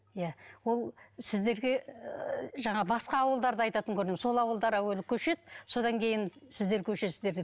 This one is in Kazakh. иә ол сіздерге ы жаңа басқа ауылдарды айтатын көрінемін сол ауылдар әуелі көшеді содан кейін сіздер көшесіздер деп